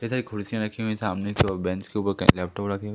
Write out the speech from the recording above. जैसा कि कुर्सियां रखी हुई हैं सामने की ओर बेंच के ऊपर कई लैपटॉप रखे हुए--